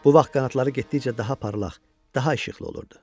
Bu vaxt qanadları getdikcə daha parlaq, daha işıqlı olurdu.